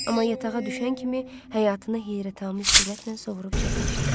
Amma yatağa düşən kimi həyatını heyrətamiz sürətlə sovurub çəkmişdi.